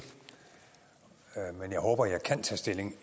men jeg håber at jeg kan tage stilling